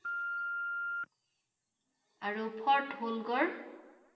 আৰু ফৰ্ট হ‘ল গড়?